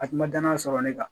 A kun ma danaya sɔrɔ ne kan